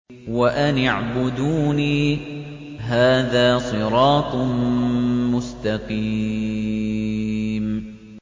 وَأَنِ اعْبُدُونِي ۚ هَٰذَا صِرَاطٌ مُّسْتَقِيمٌ